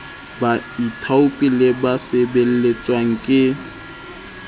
baithaopi le ba sebeletswang ke